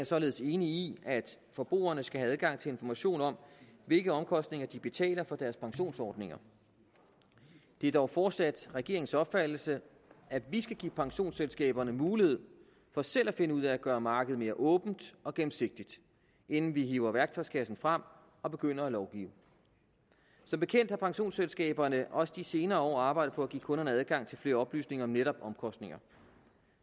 således enig i at forbrugerne skal have adgang til information om hvilke omkostninger de betaler for deres pensionsordninger det er dog fortsat regeringens opfattelse at vi skal give pensionsselskaberne mulighed for selv at finde ud af at gøre markedet mere åbent og gennemsigtigt inden vi hiver værktøjskassen frem og begynder at lovgive som bekendt har pensionsselskaberne også de senere år arbejdet på at give kunderne adgang til flere oplysninger om netop omkostninger